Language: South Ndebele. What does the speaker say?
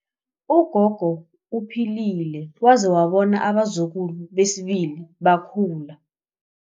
Ugogo uphilile waze wabona abazukulu besibili bekhula.